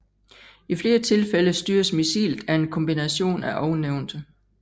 I flere tilfælde styres missilet af en kombination af ovennævnte